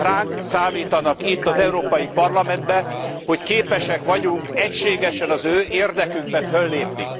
Ránk számítanak itt, az Európai Parlamentben, hogy képesek vagyunk egységesen az ő érdekükben föllépni.